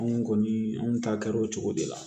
Anw kɔni an ta kɛra o cogo de la